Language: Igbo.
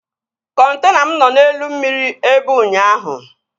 Kọntena m nọ n'elu mmiri ebe ụnyaahụ